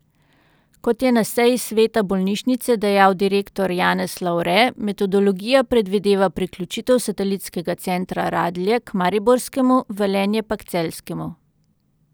Kot je na seji sveta bolnišnice dejal direktor Janez Lavre, metodologija predvideva priključitev satelitskega centra Radlje k mariborskemu, Velenje pa k celjskemu.